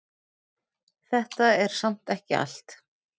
Þetta er samt ekki allt.